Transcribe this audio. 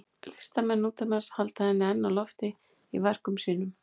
Listamenn nútímans halda henni enn á lofti í verkum sínum.